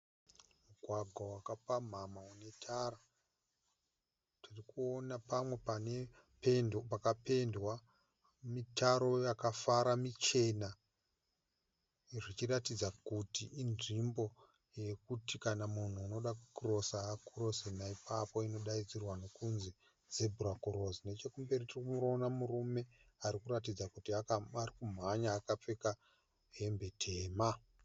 Mugwagwa waka pamhamha une tara. Ndiri kuona pamwe pane pendi pakapendwa mutaro yakafa muchena. Zvichiratidza kuti inzvimbo yekuti, kana munhu achida ku crosser ano crosser nei papo inonzi Zebra cross, nechekumberi ndiri kuona murume ari kuratidza kuti ari kumhanya akapfeka hembe tema.